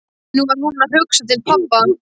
Nú var hún að hugsa til pabba.